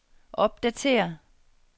opdatér